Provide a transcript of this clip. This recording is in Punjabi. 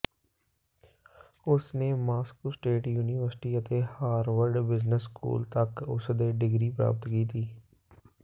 ਉਸ ਨੇ ਮਾਸਕੋ ਸਟੇਟ ਯੂਨੀਵਰਸਿਟੀ ਅਤੇ ਹਾਰਵਰਡ ਬਿਜ਼ਨਸ ਸਕੂਲ ਤੱਕ ਉਸ ਦੇ ਡਿਗਰੀ ਪ੍ਰਾਪਤ ਕੀਤੀ